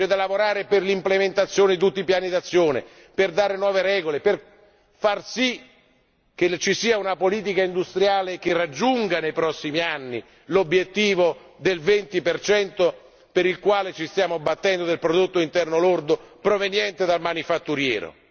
C'è da lavorare per l'implementazione di tutti i piani d'azione, per dare nuove regole, per far sì che ci sia una politica industriale che raggiunga nei prossimi anni l'obiettivo del 20 per il quale ci stiamo battendo del prodotto interno lordo proveniente dal manifatturiero.